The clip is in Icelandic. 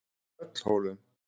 Tröllhólum